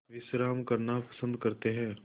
विश्राम करना पसंद करते हैं